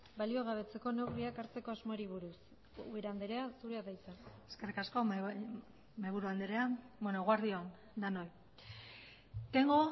baliogabetzeko neurriak hartzeko asmoari buruz ubera andrea zurea da hitza eskerrik asko mahaiburu andrea eguerdi on denoi tengo